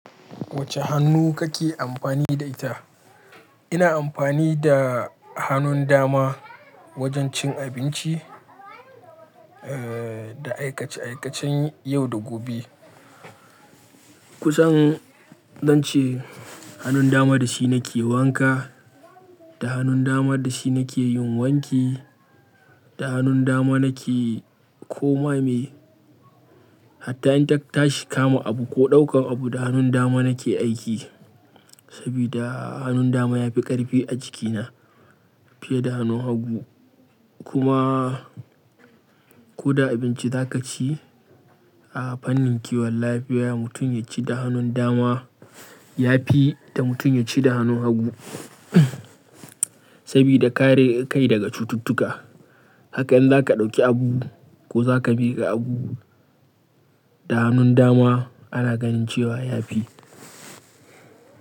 Wacce hannu kake amfani da ita? Ina amfani da hannun dama wajen cin abinci, eh, da aikace-aikacen yau da gobe. Kusan zance hannun dama da shi nake wanka, da hannun dama da shi nake yin wanki, da hannun dama nake koma me. Hatta in ta tashi kama abu ko ɗaukan abu, da hannun dama nake aiki. Sabida hannun dama ya fi ƙarfi a jikina fiye da hannun hagu. Kuma ko da abinci za ka ci, a fannin kiwon lafiya mutum ya ci da hannun dama ya fi da mutum ya ci da hannun hagu. Sabida kare kai daga cututtuka. Haka in za ka ɗauki abu ko za ka miƙa abu, da hannun dama ana ganin cewa ya fi.